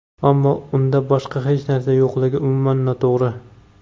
ammo unda boshqa hech narsa yo‘qligi umuman noto‘g‘ri.